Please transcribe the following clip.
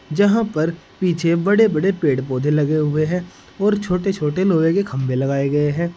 जहाँ पर पीछे बड़े बड़े पेड़ पौधे लगे हुए हैं और छोटे छोटे लोहे के खम्भे लगाए गए हैं।